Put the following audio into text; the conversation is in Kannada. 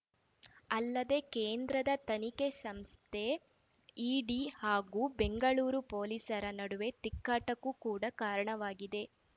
ಅಲ್ಲದೆ ಕೇಂದ್ರದ ತನಿಖೆ ಸಂಸ್ಥೆ ಇಡಿ ಹಾಗೂ ಬೆಂಗಳೂರು ಪೊಲೀಸರ ನಡುವೆ ತಿಕ್ಕಾಟಕ್ಕೂ ಕೂಡ ಕಾರಣವಾಗಿದೆ